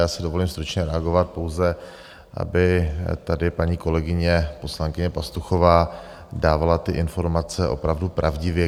Já si dovolím stručně reagovat, pouze aby tady paní kolegyně poslankyně Pastuchová dávala ty informace opravdu pravdivě.